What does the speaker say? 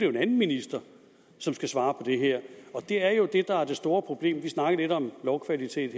en anden minister som skal svare det her det er jo det der er det store problem vi snakkede lidt om lovkvalitet